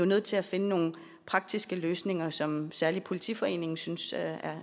nødt til at finde nogle praktiske løsninger som særlig politiforeningen synes